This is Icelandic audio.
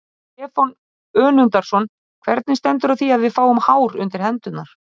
Stefán Önundarson: Hvernig stendur á því að við fáum hár undir hendurnar?